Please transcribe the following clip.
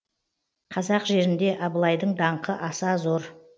қазақ жерінде абылайдың даңқы аса зор